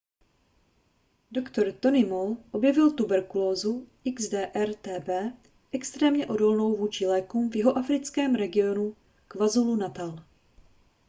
dr. tony moll objevil tuberkulózu xdr-tb extrémně odolnou vůči lékům v jihoafrickém regionu kwazulu-natal